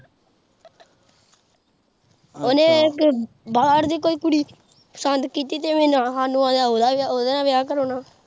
ਉਨੇ ਕੋਈ ਬਾਹਰ ਦੀ ਕੋਈ ਕੁੜੀ ਪਸੰਦ ਕੀਤੀ ਸਾਨੂੰ ਲੱਗਦਾ ਓਦੇ ਨਾਲ ਵਿਆਹ ਕਰਾਉਣਾ।